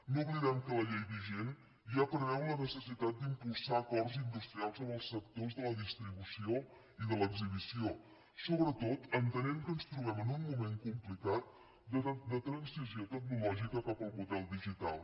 no oblidem que la llei vigent ja preveu la necessitat d’impulsar acords industrials amb els sectors de la distribució i de l’exhibició sobretot entenent que ens trobem en un moment complicat de transició tecnològica cap al model digital